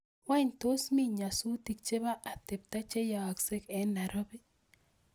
Wany tos mi nyasutik chebo atebta cheyaaksei en nairobi